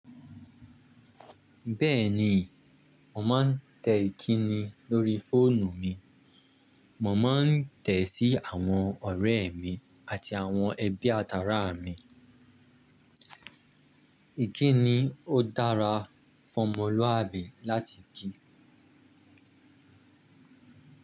Bẹ́ẹ̀ni, mò máa ń tẹ ìkíni lóri fóònù mi, mò máa ń tẹ̀ sí àwọn ọ̀rẹ́ mi àti àwọn ẹbí àtàrà mi. Ìkíni ó dára fún ọmọlúwàbí láti kii.